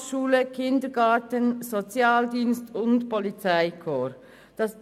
Frauenhaus, Schule, Kindergarten, Sozialdienst und Polizeikorps.